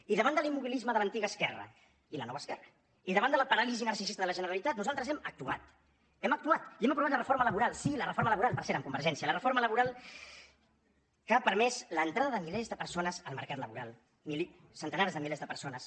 i davant de l’immobilisme de l’antiga esquerra i la nova esquerra i davant de la paràlisi narcisista de la generalitat nosaltres hem actuat hem actuat i hem aprovat la reforma laboral sí la reforma laboral per cert amb convergència la reforma laboral que ha permès l’entrada de milers de persones al mercat laboral centenars de milers de persones